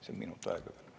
Palun minut aega juurde.